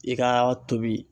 I ka tobi.